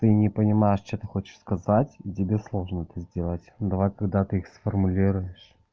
не понимаешь что ты хочешь сказать и тебе сложно это сделать давай когда ты их сформулируешь